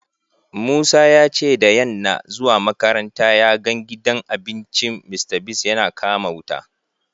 Musa ya ce da yanna zuwa makaranta ya gan gidan abincin Mr.Biggs yana kama wuta.